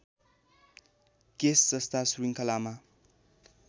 case जस्ता श्रृङ्खलामा